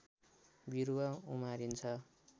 बिरुवा उमारिन्छ